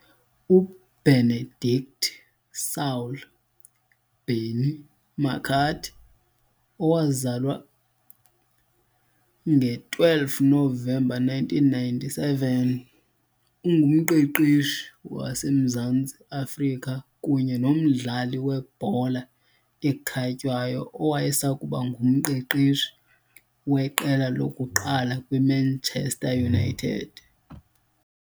U-Benedict Saul "Benni" McCarthy, owazalwa nge-12 Novemba 1997, ungumqeqeshi waseMzantsi Afrika kunye nomdlali webhola ekhatywayo owayesakuba ngumqeqeshi weqela lokuqala kwiManchester United .